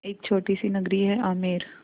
एक छोटी सी नगरी है आमेर